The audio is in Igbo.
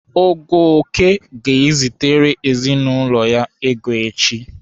Ogoke ga-ezitere ezinaụlọ ya ego echi.